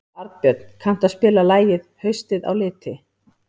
Arnbjörn, kanntu að spila lagið „Haustið á liti“?